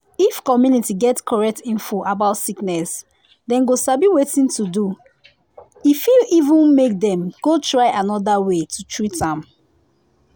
if community get correct info about sickness dem go sabi wetin to do. e fit even make dem go try another wa to treat am.